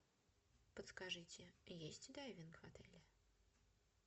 подскажите есть дайвинг в отеле